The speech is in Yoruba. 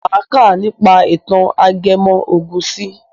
Máa kà nípa ìtàn ajẹmọ́ ògùn si.